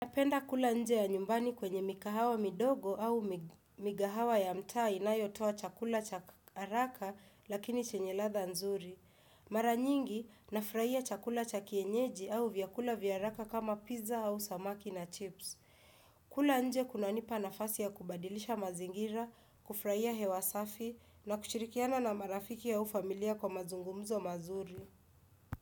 Napenda kula nje ya nyumbani kwenye mikahawa midogo au migahawa ya mtaa inayotoa chakula cha haraka lakini chenye ladha nzuri. Mara nyingi nafurahia chakula cha kienyeji au vyakula vya haraka kama pizza au samaki na chips. Kula nje kuna nipa nafasi ya kubadilisha mazingira, kufuraia hewasafi na kushirikiana na marafiki au familia kwa mazungumzo mazuri.